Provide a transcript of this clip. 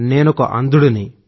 నేనొక అంధుడిని